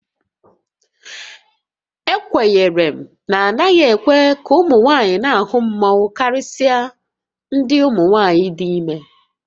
Ekwenyere na a naghị ekwe ka ụmụ nwaanyị na-ahụ mmanwu karịsịa ndị umunwaayị dị ime